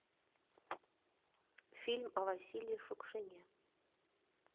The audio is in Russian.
фильм о василии шукшине